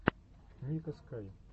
ника скай